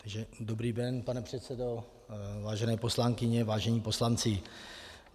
Dobrý den, pane předsedo, vážené poslankyně, vážení poslanci.